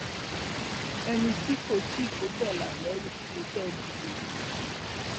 ẹni tí kò tí kò bẹlà lẹrú ni kẹ ẹ dìbò yàn